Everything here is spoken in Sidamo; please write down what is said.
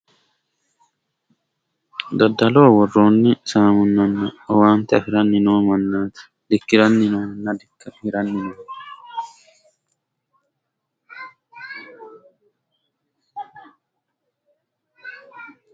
daddaloho worroonni saamunnana owaante afiranni noo mannaati dikkiranni noohanna hiranni nooho.